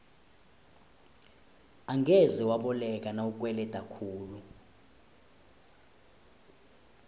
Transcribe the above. angeze waboleka nawukweleda khulu